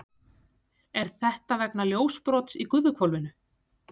Er þetta vegna ljósbrots í gufuhvolfinu?